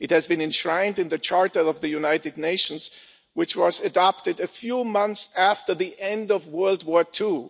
It was enshrined in the Charter of the United Nations, which was adopted a few months after the end of World War II.